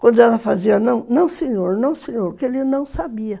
Quando ela fazia não, não senhor, não senhor, porque ele não sabia.